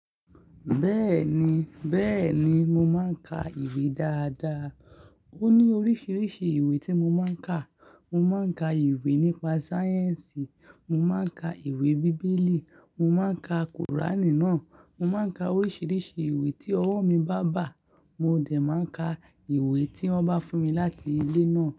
Bẹ́ẹ̀ni, bẹ́ẹ̀ni, mo máa ń ka ìwé dáadáa. Ó ní oríṣiríṣi ìwé tí mo máa ń ka. Mo máa ń ka ìwé nípa sáyẹ̀nsì, mo máa ń ka ìwé bíbélì, mo máa ń ka kùránì náà, mo máa ń ka oríṣiríṣi ìwé tí ọwọ́ mi bá bà. Mo dẹ̀ máa ń ka ìwé tí wọ́n bá fún mi láti ilé náà.